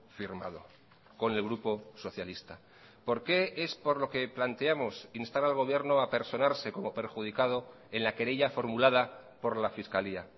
firmado con el grupo socialista por qué es por lo que planteamos instar al gobierno a personarse como perjudicado en la querella formulada por la fiscalía